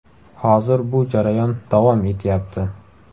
Hozir bu jarayon davom etyapti.